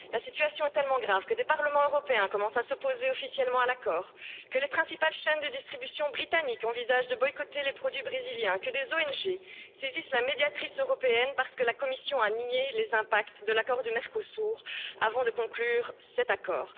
La situation est tellement grave que le Parlement européen commence à s'opposer officiellement à l'accord, que les principales chaînes de distribution britanniques envisagent de boycotter les produits brésiliens, que des ONG saisissent la médiatrice européenne parce que la Commission a nié les impacts de l'accord du Mercosur, avant de conclure cet accord.